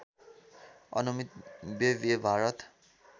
अनुमित व्यय भारत